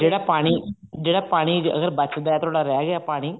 ਜਿਹੜਾ ਪਾਣੀ ਅਗਰ ਬਚਦਾ ਥੋੜਾ ਰਿਹ ਗਿਆ ਪਾਣੀ